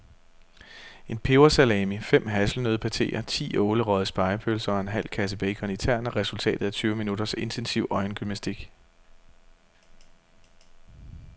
En pebersalami, fem hasselnøddepateer, ti ålerøgede spegepølser og en halv kasse bacon i tern er resultatet af tyve minutters intensiv øjengymnastik.